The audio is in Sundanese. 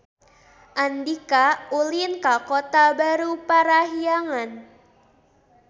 Andika ulin ka Kota Baru Parahyangan